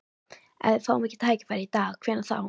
Ef við fáum ekki tækifærið í dag, hvenær þá?